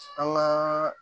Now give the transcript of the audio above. An ka